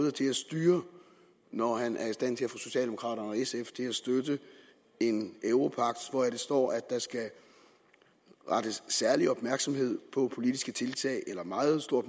er til at styre når han er i stand til at få socialdemokraterne og sf til at støtte en europagt hvor der står at der skal rettes særlig opmærksomhed eller meget stor